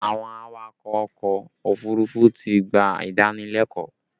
Àwọn awakọ̀ ọkọ òfurufú ti gbà ìdánilẹ́kọ̀ọ́